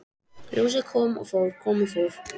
Ljósið kom og fór, kom og fór.